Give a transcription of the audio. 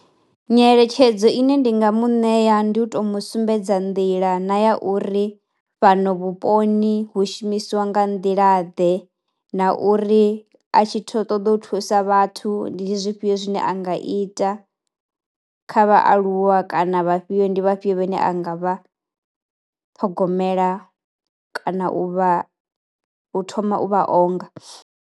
Nyeletshedzo ine ndi nga mu ṋea ndi u to mu sumbedza nḓila na ya uri fhano vhuponi hu shumisiwa nga nḓila ḓe na uri a tshi tho ṱoḓou thusa vhathu ndi zwifhio zwine a nga ita kha vhaaluwa kana vha fhio ndi vhafhio vhane a nga vha ṱhogomela kana u vha u thoma u vha onga.